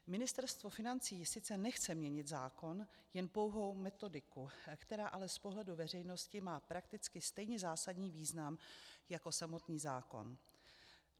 Ministerstvo financí sice nechce měnit zákon, jen pouhou metodiku, která ale z pohledu veřejnosti má prakticky stejně zásadní význam jako samotný zákon.